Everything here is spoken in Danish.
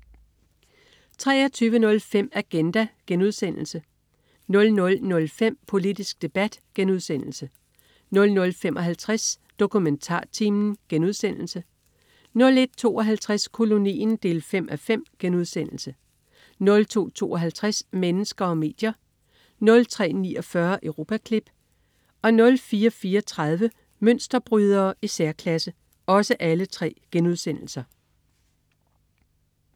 23.05 Agenda* 00.05 Politisk debat* 00.55 DokumentarTimen* 01.52 Kolonien 5:5* 02.52 Mennesker og medier* 03.49 Europaklip* 04.34 Mønsterbrydere i særklasse*